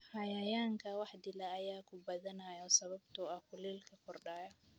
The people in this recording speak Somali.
Cayayaanka wax dila ayaa ku badanaya sababtoo ah kuleylka kordhaya.